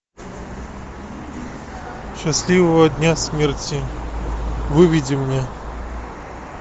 счастливого дня смерти выведи мне